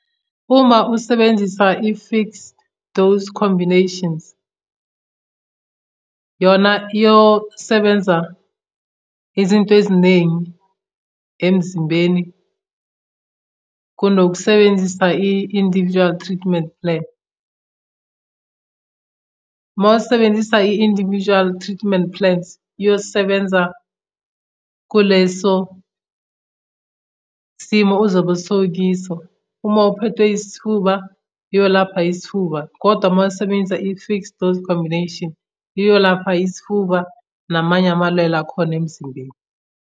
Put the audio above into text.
Uma usebenzisa i-fixed dose combinations yona yosebenza izinto eziningi emzimbeni kunokusebenzisa i-individual treatment plan. Mawusebenzisa i-individual treatment plans iyosebenza kuleso simo uzobe sowukiso uma uphethwe isifuba, uyolapha isifuba, kodwa uma usebenzisa i-fixed dose combination iyolapha isifuba namanye amalelo akhona emzimbeni.